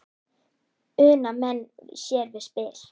Una menn sér við spil.